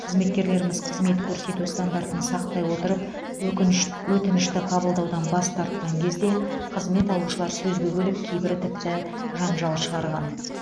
қызметкерлеріміз қызмет көрсету стандартын сақтай отырып өкініш өтінішті қабылдаудан бас тартқан кезде қызмет алушылар сөзге көліп кейбірі тіпті жанжал шығарған